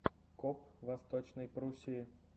коп в восточной пруссии